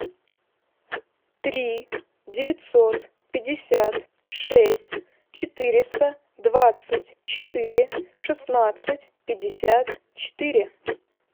три девятьсот пятьдесят шесть четыреста двадцать четыре шестнадцать пятьдесят четыре